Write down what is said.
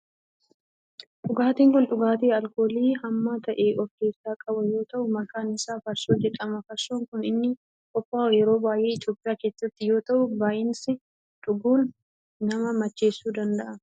Dhugaatin kun dhugaatii alkoolii hamma ta'e of keessaa qabu yoo ta'u maqaan isaa farsoo jedhama. farsoon kan inni qophaa'uu yeroo baayyee Itiyoophiyaa keessatti yoo ta'u baayisaanii dhuguun nama macheessuu danda'a.